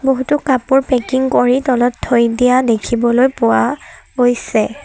বহুতো কাপোৰ পেকিং কৰি তলত থৈ দিয়া দেখিবলৈ পোৱা গৈছে।